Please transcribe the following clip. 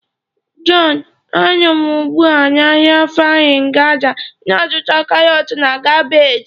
John, a nọ m ugbu a na ahịa Farin Gada na-azụta karọt na kabeeji.